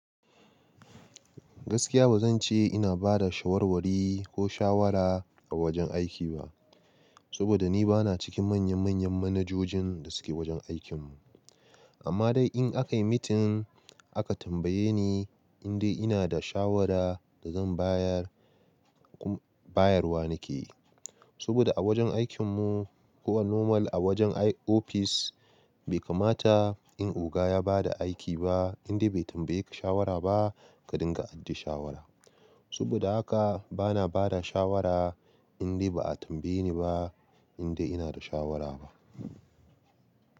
Gaskiya ba zan ce ina ba da shawarwari ko shawara a wajen aiki ba, saboda ni bana cikin manya-manyan manajojin da suke wajen aikin mu. Amma dai in aka yi meeting aka tambaye ni indai ina da shawara da zan bayar, bayarwa nake. Saboda a wajen aikin mu ko a normal a wajen ofis bai kamata in oga ya ba da aiki ba indai bai tambaye ka shawara ba ka dinga ajiye shawara. Saboda haka bana ba da shawara indai ba a tambaye ni ba indai ina da shawara ba.